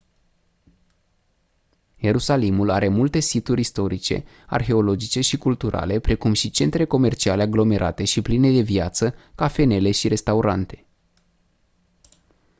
ierusalimul are multe situri istorice arheologice și culturale precum și centre comerciale aglomerate și pline de viață cafenele și restaurante